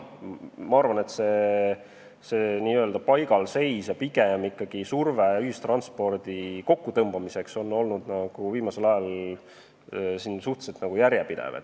Ma arvan, et see n-ö paigalseis ja surve pigem ühistranspordi kokkutõmbamiseks on olnud viimasel ajal suhteliselt järjepidev.